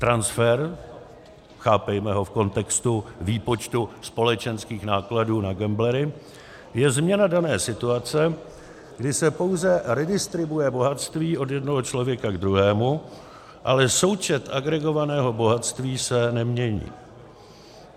Transfer, chápejme ho v kontextu výpočtu společenských nákladů na gamblery, je změna dané situace, kdy se pouze redistribuuje bohatství od jednoho člověka ke druhému, ale součet agregovaného bohatství se nemění.